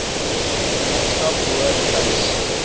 gemeenskap behoort tuis